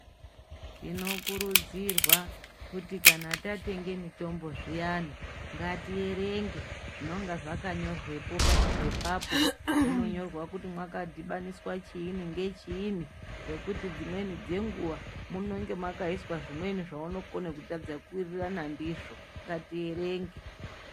Tinokurudzirwa kuti kana tatenge mitombo zviyani ngatierenge zvononga zvakanyorwepo pachipepapo zvinonyorwa kuti makadhibaniswa chiini ngechini ngekuti dzimweni dzenguwa munenge makaiswe zvimweni zvaunokone kutadza kuwirirana ndizvo ngatierenge .